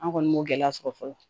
An kɔni b'o gɛlɛya sɔrɔ fɔlɔ